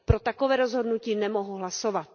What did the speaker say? Pro takové rozhodnutí nemohu hlasovat.